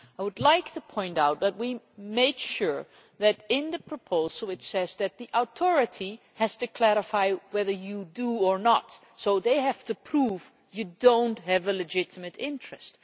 I would like to point out that we made sure that in the proposal it says that the authority has to clarify whether you do or not, so they have to prove that you do not have a legitimate interest.